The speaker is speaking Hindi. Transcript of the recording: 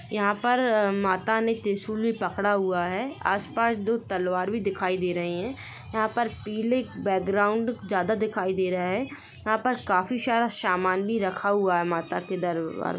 यहा पर माता ने त्रिशुल भी पकड़ा हुआ है आस-पास दो तलवार भी दिखाई दे रहे है यहाँ पर पीले बैकग्राउंड ज़्यादा दिखाई दे रहा है यहाँ पर काफी सारा समान भी रखा हुआ हैमाता के दरबार--